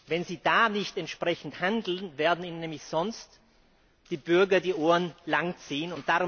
Wenn Sie da nicht entsprechend handeln, werden Ihnen nämlich sonst die Bürger die Ohren lang ziehen.